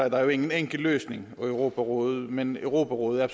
at der jo ingen enkel løsning er for europarådet men europarådet er